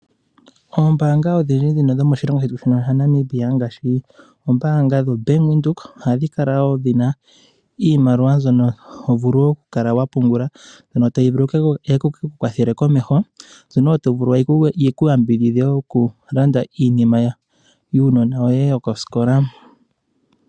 Oombaanga odhindji dhomoshilongo shetu shino shaNamibia, ngaashi ombaanga yoBank Windhoek, ohadhi kala wo dhi na iimaliwa mbyono to vulu wo okukala wa pumbungula. Otayi vulu oku ku kwathela komeho, yo otayi ku yambidhidha wo okunda iinima yuunona woye yokosikola.